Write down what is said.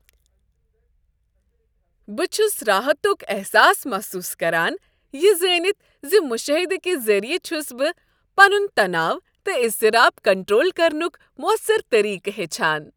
بہٕ چھس راحتک احساس محسوس کران یہ زانتھ ز مشٲہدٕ کہ ذریعہ چھس بہٕ پنن تناؤ تہٕ اضطراب کنٹرول کرنک موثر طریقہٕ ہیچھان۔